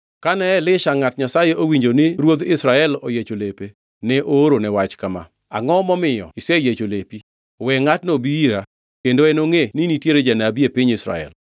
Kane Elisha ngʼat Nyasaye owinjo ni ruodh Israel oyiecho lepe, ne oorone wach kama, “Angʼo momiyo iseyiecho lepi? We ngʼatno obi ira kendo enongʼe ni nitie janabi e piny Israel.”